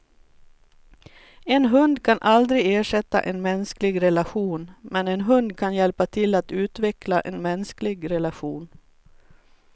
En hund kan aldrig ersätta en mänsklig relation, men en hund kan hjälpa till att utveckla en mänsklig relation.